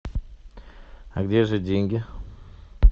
а где же деньги